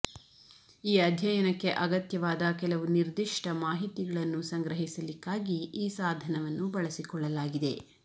ಈ ಅಧ್ಯಯನಕ್ಕೆ ಅಗತ್ಯವಾದ ಕೆಲವು ನಿರ್ದಿಷ್ಟ ಮಾಹಿತಿಗಳನ್ನು ಸಂಗ್ರಹಿಸಲಿಕ್ಕಾಗಿ ಈ ಸಾಧನವನ್ನು ಬಳಸಿಕೊಳ್ಳಲಾಗಿದೆ